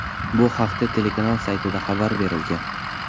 Bu haqda telekanal saytida xabar berilgan .